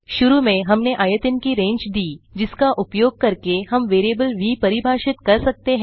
शुरू में हमने आयतन की रेंज दी जिसका उपयोग करके हम वेरिएबल व परिभाषित कर सकते हैं